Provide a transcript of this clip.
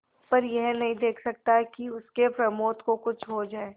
पर यह नहीं देख सकता कि उसके प्रमोद को कुछ हो जाए